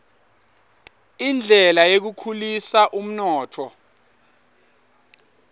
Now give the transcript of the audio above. indlela yekukhulisa umnotfo